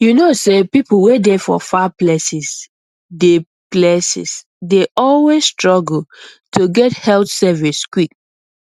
you know say people wey dey for far places dey places dey always struggle to get health service quick